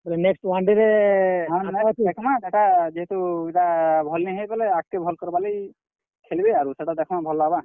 ହଁ next ଦେଖ୍ ମା ସେଟା ଯେହେତୁ ଇଟା ଭଲ୍ ନି ହେଇ ବେଲେ ଆଗ୍ କେ ଭଲ୍ କରବାର୍ ଲାଗି, ଖେଲବେ ଆରୁ ସେଟା ଦେଖମା ଭଲ୍ ଲାଗ୍ ବା।